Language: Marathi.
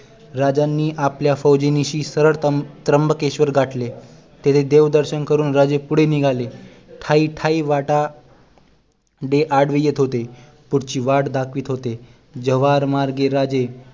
राजांनी आपल्या फौजे निशी सरळ त्रम त्र्यंबकेश्वर गाठले तिथे देव दर्शन करून राजे पुढे निघाले ठायी ठायी वाटाडे आडवे येत होते पुढची वाट दाखवत होते जवहार मार्गे राजे